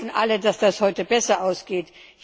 Wir hoffen alle, dass das heute besser ausgeht.